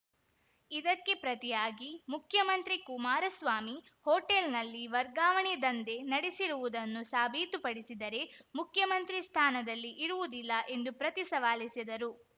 ಇದಕ್ಕೆ ಪ್ರತಿಯಾಗಿ ಮುಖ್ಯಮಂತ್ರಿ ಕುಮಾರಸ್ವಾಮಿ ಹೋಟೆಲ್‌ನಲ್ಲಿ ವರ್ಗಾವಣೆ ದಂಧೆ ನಡೆಸಿರುವುದನ್ನು ಸಾಬೀತುಪಡಿಸಿದರೆ ಮುಖ್ಯಮಂತ್ರಿ ಸ್ಥಾನದಲ್ಲಿ ಇರುವುದಿಲ್ಲ ಎಂದು ಪ್ರತಿ ಸವಾಲೆಸೆದರು